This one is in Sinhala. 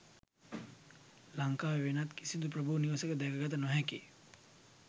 ලංකාවේ වෙනත් කිසිදු ප්‍රභූ නිවසක දැක ගත නොහැකි